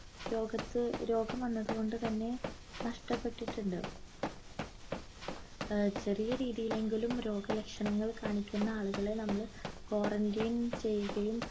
രോഗത്ത് രോഗം വന്നതുകൊണ്ട് തന്നെ നഷ്ടപ്പെട്ടിട്ടുണ്ട് ആഹ് ചെറിയ രീതിയില്ലെങ്കിലും രോഗ ലക്ഷണങ്ങൾ കാണിക്കുന്ന ആളുകളെ നമ്മൾ quarantine ചെയ്യുകയും